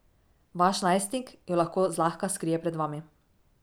Vaš najstnik jo lahko zlahka skrije pred vami.